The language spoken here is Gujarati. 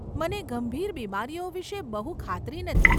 મને ગંભીર બીમારીઓ વિષે બહુ ખાતરી નથી.